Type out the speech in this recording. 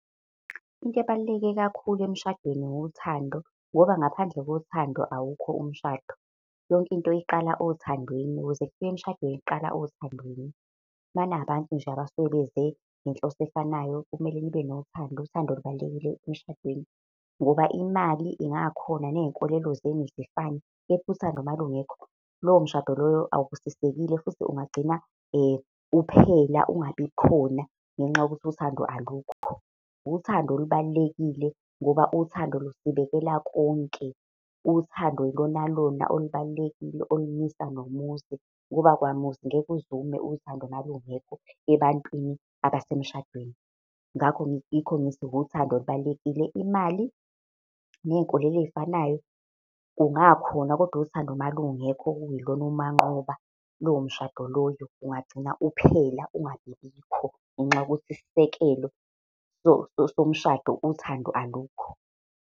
Into ebaluleke kakhulu emshadweni wuthando, ngoba ngaphandle kothando awukho umshado. Yonke into iqala othandweni, ukuze kufike emshadweni kuqala othandweni. Uma ningabantu nje abasuke beze ngenhloso efanayo, kumele nibe nothando, uthando lubalulekile emshadweni ngoba imali ingakhona ney'nkolelo zenu zifane kepha uthando malungekho, lowo mshado lowo awubusisekile futhi ungagcina uphela, ungabikhona, ngenxa yokuthi uthando alukho. Uthando olubalulekile ngoba uthando lusibekela konke. Uthando ilona lona olubalulekile olumisa nomuzi, ngoba kwamuzi ngeke uze ume uthando malungekho ebantwini abasemshadweni. Ngakho yikho ngithi wuthando olubalulekile, imali ney'nkolo ey'fanayo kungakhona kodwa uthando malungekho, okuyilona umanqoba, lowo mshado loyo ungagcina uphela ungabibikho, ngenxa yokuthi isisekelo somshado uthando, alukho.